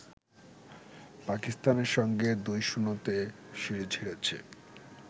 পাকিস্তানের সঙ্গে ২-০ তে সিরিজ হেরেছে